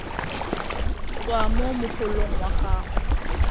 tswa mo mogolong wa gago